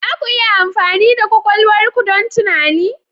Za ku iya amfani da kwakwalwar ku don tunani?